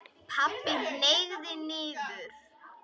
Pabbi hneig niður.